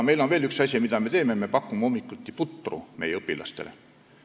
On veel üks asi, mida me teeme: me pakume hommikuti meie õpilastele putru.